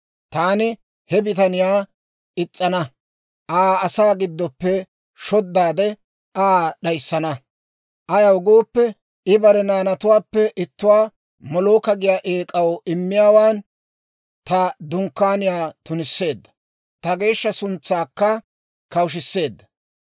Taani he bitaniyaa is's'ana; Aa asaa giddoppe shoddaade Aa d'ayissana. Ayaw gooppe, I bare naanatuwaappe ittuwaa Molooka giyaa eek'aw immiyaawan, ta Dunkkaaniyaa tunisseedda; ta geeshsha suntsaakka kawushshiseedda.